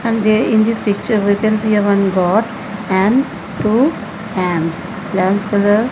and they in this picture we can see one goat and two --